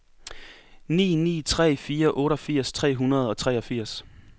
ni ni tre fire otteogfirs tre hundrede og treogfirs